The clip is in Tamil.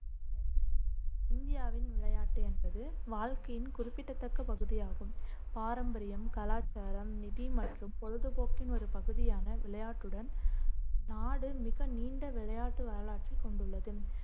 இந்தியாவின் விளையாட்டு என்பது வாழ்க்கையின் குறிப்பிட்டத்தக்க பகுதியாகும் பாரம்பரியம் கலாச்சாரம் நிதி மற்றும் பொழுதுபோக்கின் ஒரு பகுதியான விளையாட்டுடன் நாடு மிக நீண்ட விளையாட்டு வரலாற்றைக் கொண்டுள்ளது.